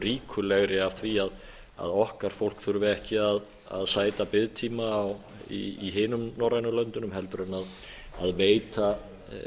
ríkulegri af því að okkar fólk þurfi ekki að sæta biðtíma í hinum norrænu löndunum heldur en veita